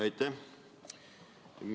Aitäh!